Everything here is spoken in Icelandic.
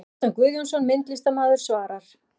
Kjartan Guðjónsson, myndlistarmaður svarar